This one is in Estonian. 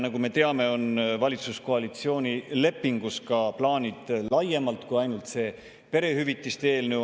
Nagu me teame, on valitsuse koalitsioonilepingus plaanid laiemalt kui ainult see perehüvitiste eelnõu.